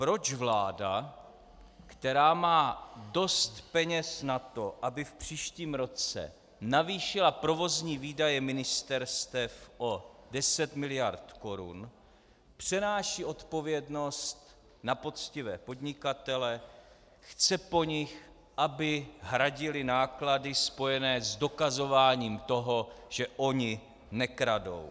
Proč vláda, která má dost peněz na to, aby v příštím roce navýšila provozní výdaje ministerstev o 10 mld. korun, přenáší odpovědnost na poctivé podnikatele, chce po nich, aby hradili náklady spojené s dokazováním toho, že oni nekradou?